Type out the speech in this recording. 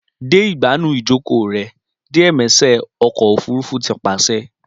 Dẹ igbanu ijoko rẹ diẸmẹṣẹ ọkọ ofurufu ti paṣẹ